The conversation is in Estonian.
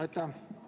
Aitäh!